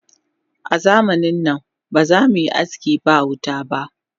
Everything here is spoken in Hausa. Azamanin nan ba zamuyi aski ba wuta ba